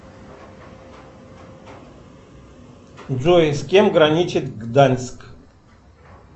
джой с кем граничит гданьск